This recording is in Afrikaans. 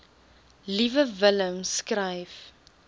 liewe willem skryf